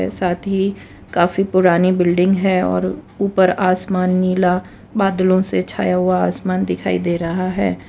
साथ ही काफी पुरानी बिल्डिंग है और ऊपर आसमान नीला बादलों से छाया हुआ आसमान दिखाई दे रहा है।